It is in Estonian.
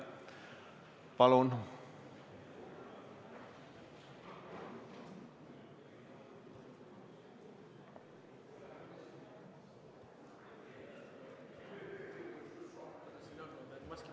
Palun!